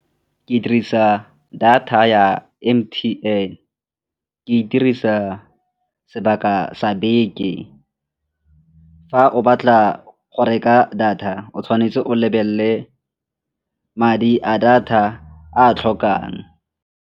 Ke dirisa data ya M_T_N, ke e dirisa sebaka sa beke. Fa o batla go reka data o tshwanetse o lebelele madi a data a a tlhokang.